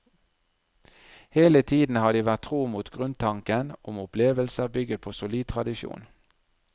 Hele tiden har de vært tro mot grunntanken om opplevelser bygget på solid tradisjon.